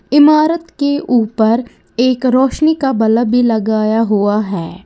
इमारत के ऊपर एक रोशनी का बल्ब भी लगाया हुआ है।